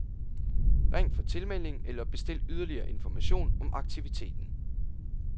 Ring for tilmelding eller bestil yderligere information om aktiviteten.